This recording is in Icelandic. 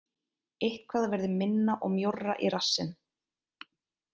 Eitthvað verður minna og mjórra í rassinn